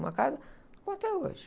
Uma casa, ficou até hoje.